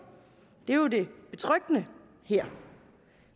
det er jo det betryggende her